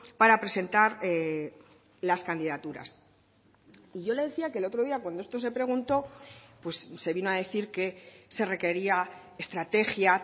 para presentar las candidaturas y yo le decía que el otro día cuando esto se preguntó se vino a decir que se requería estrategia